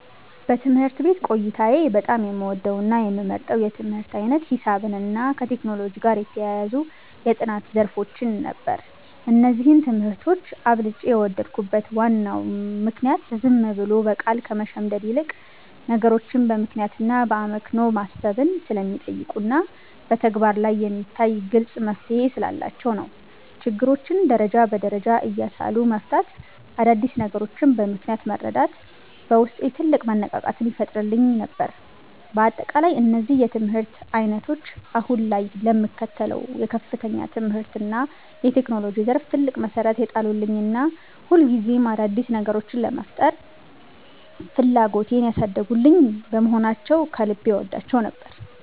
በትምህርት ቤት ቆይታዬ በጣም የምወደውና የምመርጠው የትምህርት ዓይነት ሂሳብንና ከቴክኖሎጂ ጋር የተያያዙ የጥናት ዘርፎችን ነበር። እነዚህን ትምህርቶች አብልጬ የወደድኩበት ዋናው ምክንያት ዝም ብሎ በቃል ከመሸምደድ ይልቅ፣ ነገሮችን በምክንያትና በአመክንዮ ማሰብን ስለሚጠይቁና በተግባር ላይ የሚታይ ግልጽ መፍትሔ ስላላቸው ነው። ችግሮችን ደረጃ በደረጃ እያሰሉ መፍታትና አዳዲስ ነገሮችን በምክንያት መረዳት በውስጤ ትልቅ መነቃቃትን ይፈጥርልኝ ነበር። በአጠቃላይ እነዚህ የትምህርት ዓይነቶች አሁን ላይ ለምከተለው የከፍተኛ ትምህርትና የቴክኖሎጂ ዘርፍ ትልቅ መሠረት የጣሉልኝና ሁልጊዜም አዳዲስ ነገሮችን የመፍጠር ፍላጎቴን ያሳደጉልኝ በመሆናቸው ከልብ እወዳቸው ነበር።